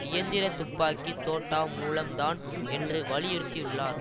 இயந்திரத் துப்பாக்கித் தோட்டா மூலம்தான் என்று வலியுறுத்தியுள்ளார்